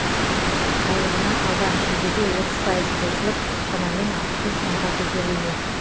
айлығына алдағы шілдеде отыз пайыз қосылып шамамен алпыс бес мыңға көтерілмек